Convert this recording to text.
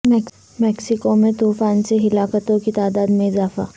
Mexico میں طوفانوں سے ہلاکتوں کی تعداد میں اضافہ